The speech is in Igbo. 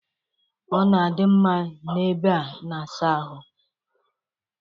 Ọ na-adị mma n'ebe a na-asa ahụ.